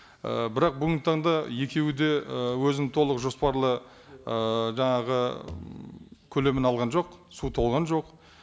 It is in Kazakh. і бірақ бүгінгі таңда екеуі де ы өзінің толық жоспарлы ыыы жаңағы м көлемін алған жоқ су толған жоқ